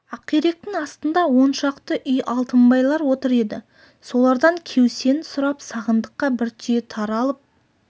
ақиректің астында он шақты үй алтынбайлар отыр еді солардан кеусен сұрап сағындыққа бір түйе тары алып